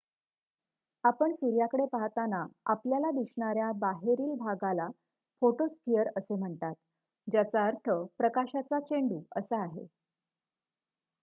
"आपण सूर्याकडे पाहताना आपल्याला दिसणाऱ्या बाहेरील भागाला फोटोस्फिअर असे म्हणतात ज्याचा अर्थ "प्रकाशाचा चेंडू" असा आहे.